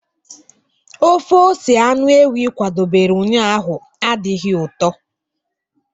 ofe ose anụ ewu ị kwadobere ụnyahụ adịghị ụtọ?